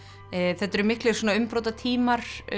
þetta eru miklir svona umbrotatímar